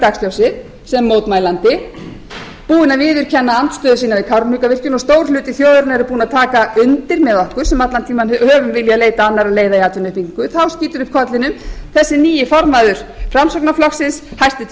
dagsljósið sem mótmælandi búinn að viðurkenna andstöðu sína við kárahnjúkavirkjun og stór hluti þjóðarinnar er búinn að taka undir með okkur sem allan tímann höfum viljað leita annarra leiða um atvinnuuppbyggingu þá skýtur upp kollinum þessi nýi formaður framsóknarflokksins hæstvirtur iðnaðarráðherra